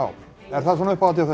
er það svona uppáhaldið